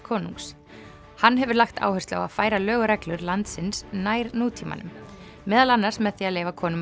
konungs hann hefur lagt áherslu á að færa lög og reglur landsins nær nútímanum meðal annars með því að leyfa konum